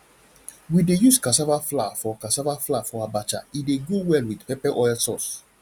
we dey use cassava flour for cassava flour for abacha e dey go well with pepper oil sauce